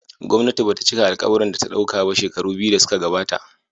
Gwamnati ba ta cika alkawurin da ta dauka ba shekaru biyu da suka gabata.